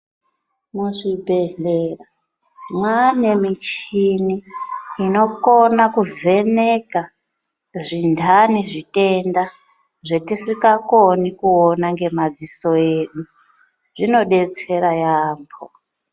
Muchibhedhlera mwaane michini inokone kuvheneka zvintani, zvitenda zvetisikakoni kuona ngemadziso edu, zvinodetsera yaamho.